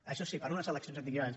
això sí per a unes eleccions anticipades